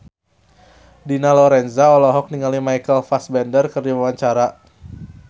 Dina Lorenza olohok ningali Michael Fassbender keur diwawancara